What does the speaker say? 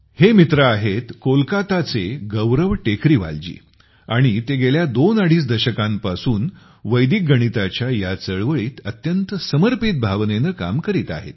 हे मित्र आहेत कोलकाता चे गौरव टेकरीवाल जी । आणि ते गेल्या दोन अडीच दशकांपासून वैदिक गणिताच्या ह्या चळवळीत अत्यंत समर्पित भावनेने काम करीत आहेत